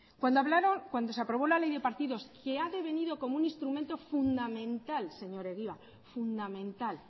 cuando se aprobó la ley de partidos que ha devenido como un instrumento fundamental señor egibar fundamental